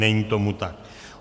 Není tomu tak.